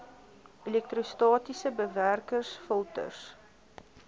elektrostatiese bewerkers filters